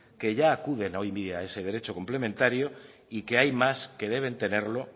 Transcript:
que ya acuden hoy en día a ese derecho complementario y que hay más que deben tenerlo